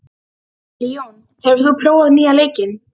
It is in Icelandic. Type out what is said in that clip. Leon, hefur þú prófað nýja leikinn?